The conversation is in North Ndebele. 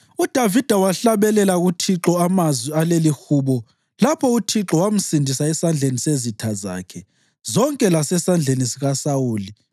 UDavida wahlabelela uThixo amazwi alelihubo lapho uThixo wamsindisa esandleni sezitha zakhe zonke lasesandleni sikaSawuli.